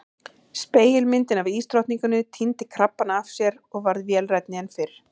Spegilmyndin af ísdrottninguni týndi krabbana af sér og varð vélrænni en fyrr.